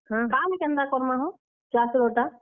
କାଣା କେନ୍ତା କର୍ ମା ହୋ? ଚାଷ୍ ର ଟା।